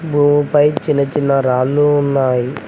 భూమిపై చిన్న చిన్న రాళ్ళు ఉన్నాయి.